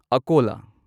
ꯑꯀꯣꯂꯥ